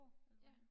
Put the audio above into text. Ja